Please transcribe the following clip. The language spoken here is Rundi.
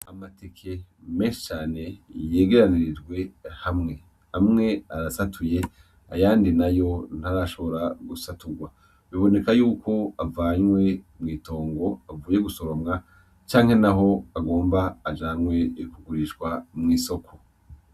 Amateke mesane yegeranirijwe hamwe hamwe arasatuye ayandi na yo ntarashobora gusaturwa biboneka yuko avanywe mw'itongo avuye gusoromwa canke na ho agomba ajanwe kugurishwa mw'isoko.